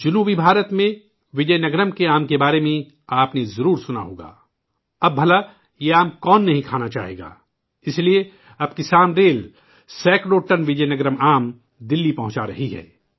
جنوبی ہند میں، وجے نگرم کے آم کے بارے میں آپ نے ضرور سنا ہوگا ؟ اب بھلا یہ آم کون نہیں کھانا چاہے گا ! اسلئے، اب کسان ریل، سیکڑوں ٹن وجے نگرم آم دلی پہنچا رہی ہے